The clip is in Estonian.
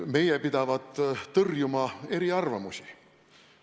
Meie pidavat tõrjuma eriarvamusi.